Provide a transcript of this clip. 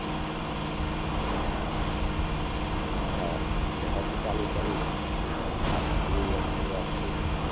હા અને પછી ચાલુ કર્યું. તો મેં લગભગ last two years થી હું આ કરું છું.